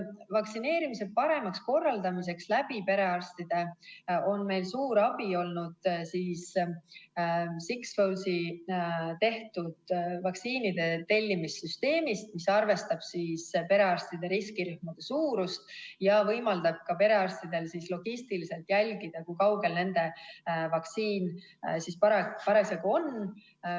Vaktsineerimise paremaks korraldamiseks perearstide juures on meil suur abi olnud Sixfoldi tehtud vaktsiinide tellimise süsteemist, mis arvestab perearstide riskirühmade suurust ja võimaldab perearstidel logistiliselt jälgida, kui kaugel nende vaktsiin parasjagu on.